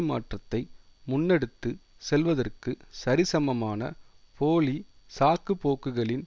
மாற்றத்தை முன்னெடுத்து செல்வதற்கு சரிசமமான போலி சாக்குப்போக்குகளின்